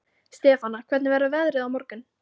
Stefana, hvernig verður veðrið á morgun?